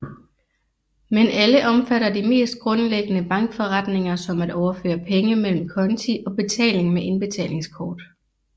Men alle omfatter de mest grundlæggende bankforretninger som at overføre penge mellem konti og betaling med indbetalingskort